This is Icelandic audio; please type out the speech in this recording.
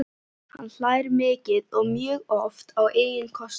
Hann hlær mikið og mjög oft á eigin kostnað.